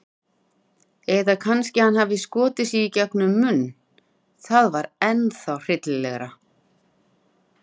Eða kannski hann hafi skotið sig gegnum munninn- það var ennþá hryllilegra.